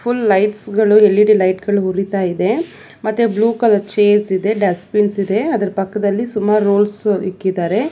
Full lights ಗಳು L E D light ಗಳು ಉರಿತ ಇದೆ ಮತ್ತೆ ಬ್ಲೂ ಕಲರ್ ಚೇರ್ಸ್ ಇದೆ ಡಸ್ಟ್ ಬಿನ್ಸ್ ಇದೆ ಮತ್ತು ಅದರ ಪಕ್ಕದಲ್ಲಿ ಸುಮಾರು ರೋಲ್ಸ್ ಇಕ್ಕಿದಾರೆ.